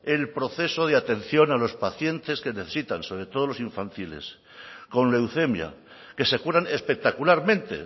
el proceso de atención a los pacientes que necesitan sobre todo los infantiles con leucemia que se curan espectacularmente